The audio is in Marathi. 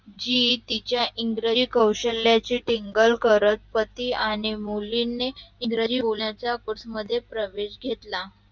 G. E. T च्या इंग्रजी कौशल्याची टिंगल करत पती आणि मुलीनी ईग्रंजी बोलन्या च्या कोर्स मध्ये प्रवेश घेतला